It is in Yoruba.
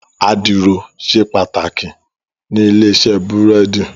Àdìrò ṣé pàtákí ni ilé-isè búrèdí